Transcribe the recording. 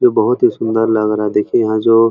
ये बहोत ही सुंदर लग रहा है देखिये यहाँ जो --